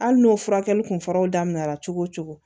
Hali n'o furakɛli kun fɔra daminɛ na cogo o cogo